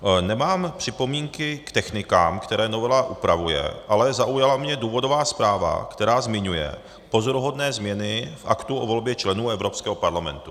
Nemám připomínky k technikám, které novela upravuje, ale zaujala mě důvodová zpráva, která zmiňuje pozoruhodné změny v aktu o volbě členů Evropského parlamentu.